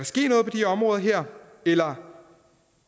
ske noget på de områder her eller